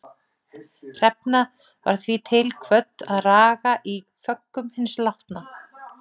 Hrefna var því til kvödd að raga í föggum hins látna.